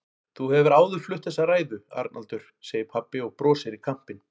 Þú hefur áður flutt þessa ræðu, Arnaldur, segir pabbi og brosir í kampinn.